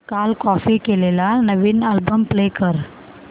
काल कॉपी केलेला नवीन अल्बम प्ले कर